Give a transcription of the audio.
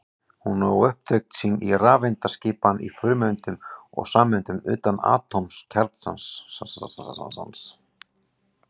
Hún á upptök sín í rafeindaskipan í frumeindum og sameindum utan atómkjarnans.